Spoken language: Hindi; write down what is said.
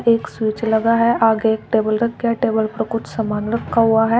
एक स्विच लगा है आगे एक टेबल रखा है टेबल पर कुछ सामान रखा हुआ है।